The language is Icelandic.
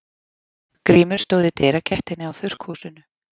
Grímur stóð í dyragættinni á þurrkhúsinu.